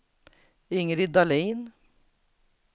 Ingrid Dahlin